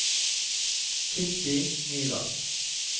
Kitty Nyland